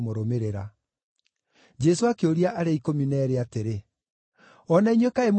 Jesũ akĩũria arĩa ikũmi na eerĩ atĩrĩ, “O na inyuĩ kaĩ mũrenda gũthiĩ?”